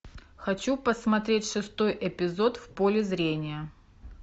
хочу посмотреть шестой эпизод в поле зрения